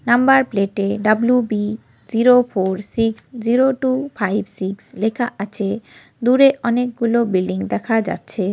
Number plate -এ W . B. Zero four six zero two five six লেখা আছে দূরে অনেকগুলো বিল্ডিং দেখা যাচ্ছে।